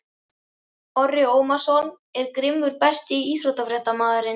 Orri Ómarsson er grimmur Besti íþróttafréttamaðurinn?